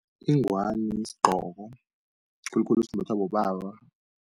Ingwani sigqoko, khulukhulu simbathwa bobaba.